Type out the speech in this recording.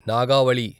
Nagavali